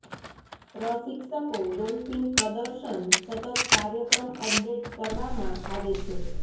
પ્રશિક્ષકો ડોલ્ફીન પ્રદર્શન સતત કાર્યક્રમ અપડેટ કરવામાં આવે છે